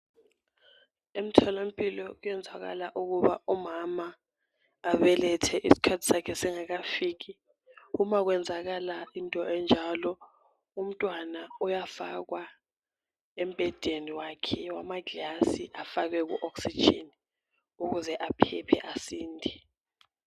Emtholampilo kuyenzakala ukuba umama abelethe isikhathi sakhe singakafiki uma kwenzakala into enjalo umntwana uyafakwa embhedeni wakhe wamaglazi afakwe ku oxygen ukuze aphephe asinde.